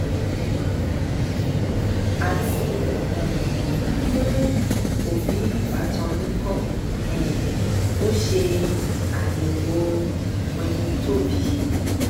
àti um fún òbí ìbátan yín kó um o ṣe ayẹwò wẹnítòbí